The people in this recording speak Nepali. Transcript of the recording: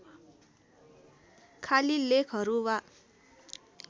खालि लेखहरू वा